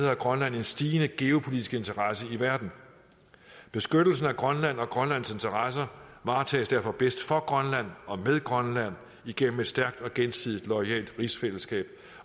har grønland en stigende geopolitisk interesse i verden beskyttelsen af grønland og grønlands interesser varetages derfor bedst for grønland og med grønland igennem et stærkt og gensidigt loyalt rigsfællesskab